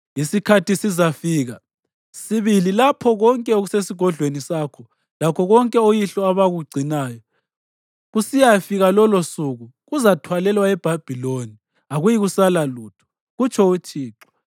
Isikhathi sizafika sibili lapho konke okusesigodlweni sakho lakho konke oyihlo abakugcinayo kusiyafika lolosuku, kuzathwalelwa eBhabhiloni. Akuyikusala lutho, kutsho uThixo.